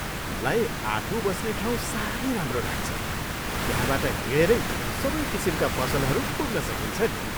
मलाई आफू बस्ने ठाउँ साह्रै राम्रो लाग्छ। त्यहाँबाट हिँडेरै सबै किसिमका पसलहरू पुग्न सकिन्छ नि!